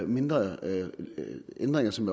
mindre ændringer som